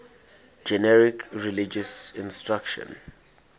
generic religious instruction